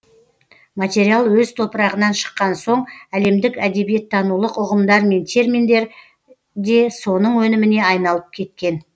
материал өз топырағынан шыққан соң әлемдік әдебиеттанулық ұғымдар мен терминдер де соның өніміне айналып кеткен